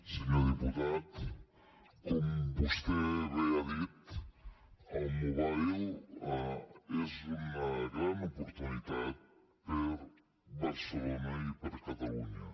senyor diputat com vostè bé ha dit el mobile és una gran oportunitat per a barcelona i per a catalunya